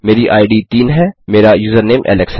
मेरी इद 3 है मेरा यूजरनेम एलेक्स है